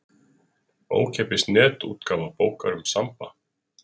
Ókeypis netútgáfa bókar um Samba.